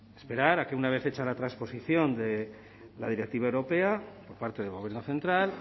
esperar a que una vez hecha la transposición de la directiva europea por parte del gobierno central